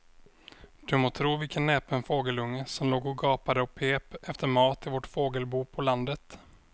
Du må tro vilken näpen fågelunge som låg och gapade och pep efter mat i vårt fågelbo på landet.